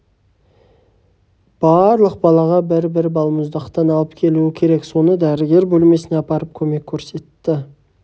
барлық балаға бір-бір балмұздақтан алып келуі керек соны дәрігер бөлмесіне апарып көмек көрсетті